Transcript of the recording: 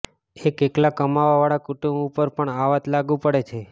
એક એકલા કમાવા વાળા કુટુંબ ઉપર પણ આ વાત લાગુ પડે છે